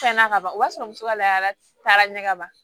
Fɛn na ka ban o b'a sɔrɔ muso ka laada ɲɛ ka ban